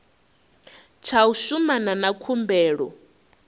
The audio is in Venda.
tsha u shumana na khumbelo